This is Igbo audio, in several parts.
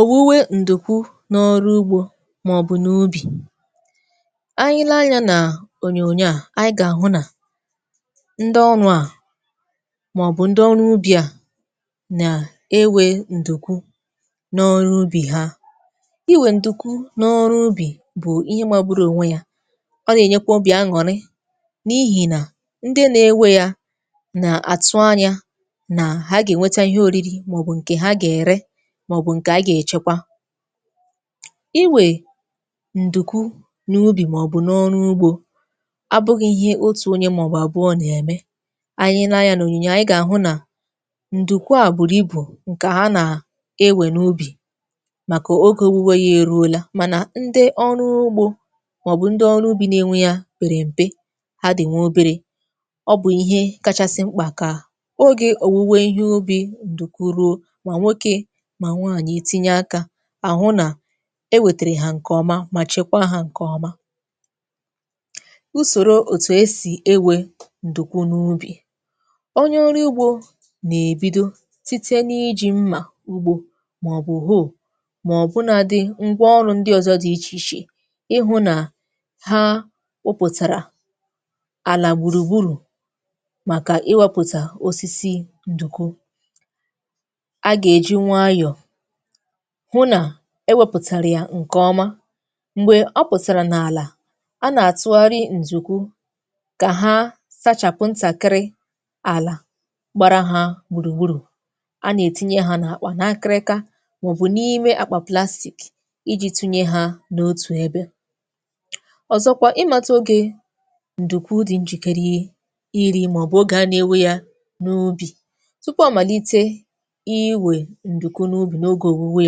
Owuwe ndukwu n’ọrụ ugbo ma ọ bụ n’ubi. Anyị lee anya n’onyoonyo a, anyị ga-ahụ na ndị ọrụ a ma ọ bụ ndị ọrụ ubi a na-ewe ndụkwu n’ọrụ ubi ha. Iwe ndụkwu n’ọrụ ubi bụ ihe magbụrụ onwe ya ọ na-enyekwa obi aṅụrị n’ihi na ndị na-ewe ya na-atụ anya na ha ga-enweta ihe oriri ma ọ bụ nke ha ga-ere, ma ọ bụ nke a ga-echekwa. Iwe ndụkwu n’ubi ma ọ bụ n’ọrụ ugbo abụghị ihe otu onye ma ọ bụ abụọ na-eme. Anyị lee anya n’oniyinyo a, anyị ga-ahụ na ndụkwu a buru ibu nke ha na-ewe n’ubi maka oge owuwe ya eruola, mana ndị ọrụ ugbo ma ọ bụ ndị ọrụ ubi na-nwe ya pere mpe. Ha dị nwa obere. Ọ bụ ihe kachasị mkpa ka oge owuwe ihe ubi ndụkwu ruo, ma nwoke, ma nwanyị e tinye aka, a hụ na e wetere ha nke ọma ma chekwaa ha nke ọma. Usoro otu e si ewe ndụkwu n’ubi:. Onye ọrụ ugbo na-ebido site n’iji mma ugbo ma ọ bụ hoe ma ọ bụnadị ngwa ọrụ ndị ọzọ dị iche iche, ịhụ na ha bụpụtara ala gburugburu maka iwepụta osisi ndụkwu. A ga-eji nwayọ hụ na e wepụtara ya nke ọma. Mgbe ọ pụtara n’ala, a na-atụgharị ndụkwu ka ha sachapụ ntakịrị ala gbara ha gburugburu. A na-etinye ha n‘akpa, n’akịrịka maọ bụ n’ime aka plastik, iji tinye ha n’otu ebe. Ọzọkwa, ịmata oge ndụkwu dị njikere iri ma ọ bụ oge a na-ewe ya n’ubi. Tupu amalite iwe ndụkwu site n’ọrụ ubi,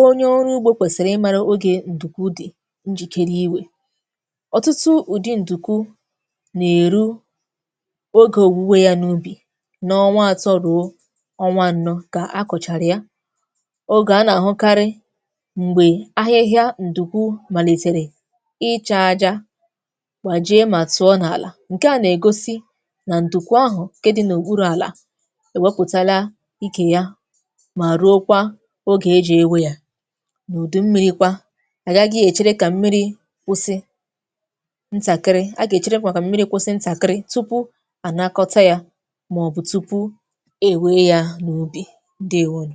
onye ọrụ ugbo kwesịrị ịmara oge ndụkwu dị njikere maka owuwe ya. Ọtụtụ ụdị ndụkwu na-eru oke na ọnwa atọ ruo anọ ka a kụchara ya. Oge a na-ahụkarị bụ mgbe ahịhịa ndụkwu malitere ịcha aja, gbajie ma tụọ n’ala. Nke na-egosi na ndụkwu ahụ nke di n’okpuru ala ewepụtala ike ya ma ruokwa oge e ji ewe ya. N’udu mmiri kwa, a gaghị echere ka mmiri kwụsị ntakịrị, a ga-echere kwa ka mmiri kwụsị ntakịrị tupu a nakọta ya ma ọ bụ tupu e wee ya n’ubi. Ndewo nu.